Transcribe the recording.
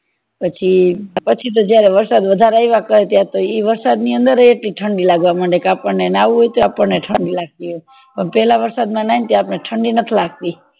પછી તો પછી તો જયારે વરસાદ વધારે આવ્યા કરે કરે ત્યારે તો ઈ વરસાદ ની અંદર કેટલી ઠંડી લાગવા માંડે કે આપણને નવું હોઇ તો આપણને ઠંડ કાગતી હોય પણ પેલા વરસાદ માં નાય તો આપણને ઠંડી નથી વાતી